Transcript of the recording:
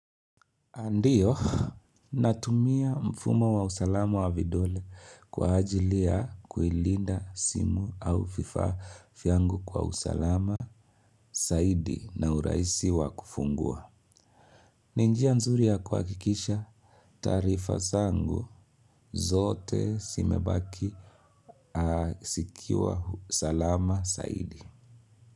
Ndio, natumia mfumo wa usalama wa vidole kwa ajili ya kuilinda simu au vifaa vyangu kwa usalama zaidi na uraisi wa kufungua. Ninjia nzuri ya kuhakikisha taarifa zangu zote zimebaki zikiwa salama zaidi.